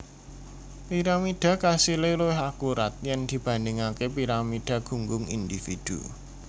Piramidha kasilé luwih akurat yèn dibandhingaké piramidha gunggung indhividhu